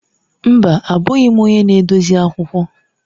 Mba! Abụghị m onye na-edozi akwụkwọ.